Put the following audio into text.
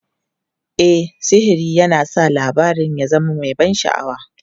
E, sihiri yana sa labarin ya zama mai ban sha'awa.